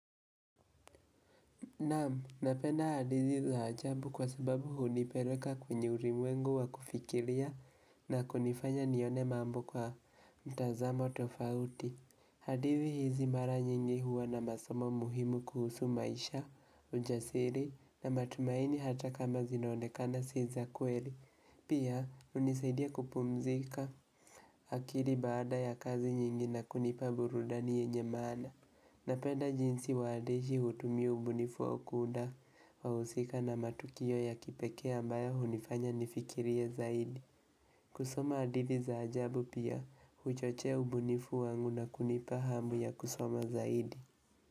Namu, napenda hadithi za ajambu kwa sababu hunipeleka kwenye uri mwengu wa kufikiria na kunifanya nione mambu kwa mtazamo tofauti. Hadizi hizi mara nyingi huwa na masomo muhimu kuhusu maisha, ujasiri na matumaini hata kama zinonekana siza kweli. Pia, unisaidia kupumzika akiri baada ya kazi nyingi na kunipa burudani yenye mana. Na penda jinsi wandashi hutumia ubunifu wau kuuda wausika na matukio ya kipeke ambayo hunifanya nifikirie zaidi. Kusoma adithi za ajabu pia, uchochea ubunifu wangu na kunipa hamu ya kusoma zaidi.